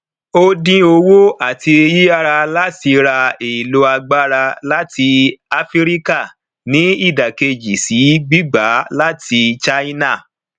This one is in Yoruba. ó dín owó àti yíyára láti ra èlò agbára láti áfíríkà ní ìdákejì sí gbígba láti china